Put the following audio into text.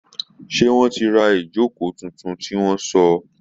Seé wọ́n ti ra ìjókòó tuntun tí wọ́n sọ̀?